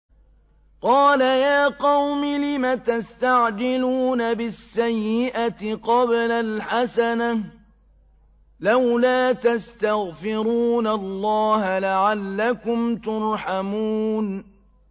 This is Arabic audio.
قَالَ يَا قَوْمِ لِمَ تَسْتَعْجِلُونَ بِالسَّيِّئَةِ قَبْلَ الْحَسَنَةِ ۖ لَوْلَا تَسْتَغْفِرُونَ اللَّهَ لَعَلَّكُمْ تُرْحَمُونَ